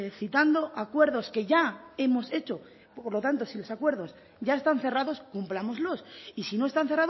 citando acuerdos que ya hemos hecho por lo tanto si los acuerdos ya están cerrados cumplámoslos y si no están